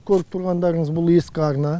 көріп тұрғандарыңыз бұл ескі арна